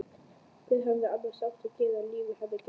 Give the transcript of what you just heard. Hvað hefði annars átt að gefa lífi hennar gildi?